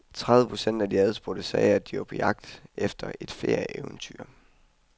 Tredive procent af de adspurgte sagde, at de var på jagt efter et ferieeventyr.